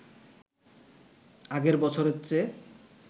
আগের বছরের চেয়ে